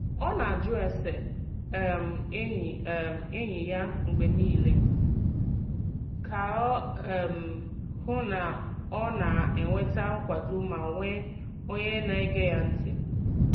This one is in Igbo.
Ọ na-ajụ ese um enyi um enyi ya mgbe niile ka o um hụ na ọ na-enweta nkwado ma nwee onye na-ege ya ntị.